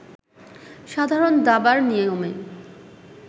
সাধারণ দাবার নিয়মে